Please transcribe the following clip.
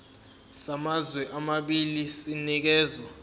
samazwe amabili sinikezwa